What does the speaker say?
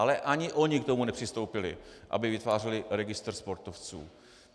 Ale ani oni k tomu nepřistoupili, aby vytvářeli registr sportovců.